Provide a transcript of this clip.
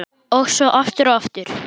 Og svo aftur og aftur.